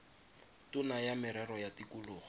tona ya merero ya tikologo